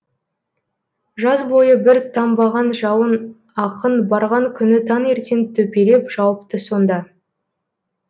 жаз бойы бір тамбаған жауын ақын барған күні таңертең төпелеп жауыпты сонда